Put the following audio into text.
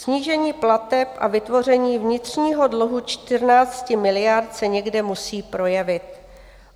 Snížení plateb a vytvoření vnitřního dluhu 14 miliard se někde musí projevit.